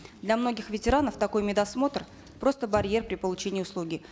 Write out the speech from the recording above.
для многих ветеранов такой медосмотр просто барьер при получении услуги